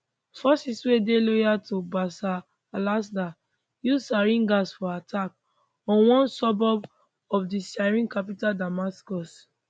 forces wey dey loyal to bashar alassad use sarin gas for attack on one suburb of di syrian capital damascus